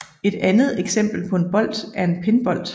Et andet eksempel på en bolt er en pinbolt